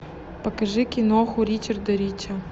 покажи киноху ричарда рича